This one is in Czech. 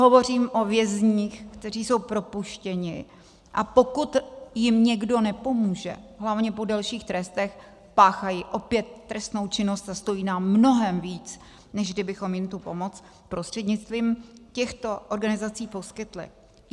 Hovořím o vězních, kteří jsou propuštěni, a pokud jim někdo nepomůže, hlavně po delších trestech, páchají opět trestnou činnost a stojí nás mnohem víc, než kdybychom jim tu pomoc prostřednictvím těchto organizací poskytli.